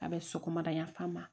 A bɛ sɔgɔmada yanfan ma